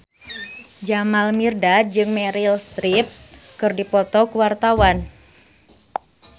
Jamal Mirdad jeung Meryl Streep keur dipoto ku wartawan